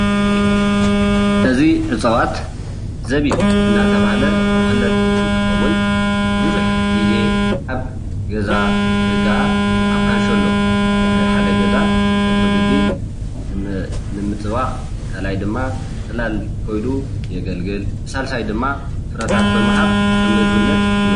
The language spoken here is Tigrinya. እዚ እፅዋት ዘቢብ እናተባሃለ ዝፍለጥ እንትከውን ብዙሕ ግዜ ኣብ ገዛ ወይ ከዓ ኣብ ካንሸሎ ናይ ሓደ ገዛ ቀፅሪ ግቢ ንምፅባቅ ካልኣይ ድማ ፅላል ኮይኑ የገልግል. ብሳልሳይ ድማ ፍረታት ብምሃብ ከም ምግብነት ይውዕል፡፡